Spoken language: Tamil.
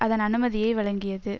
அதன் அனுமதியை வழங்கியது